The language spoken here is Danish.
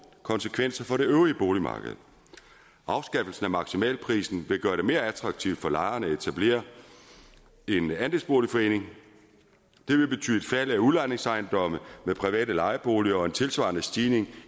konsekvenser for det øvrige boligmarked afskaffelsen af maksimalprisen vil gøre det mere attraktivt for lejerne at etablere en andelsboligforening det vil betyde fald af udlejningsejendomme med private lejeboliger og en tilsvarende stigning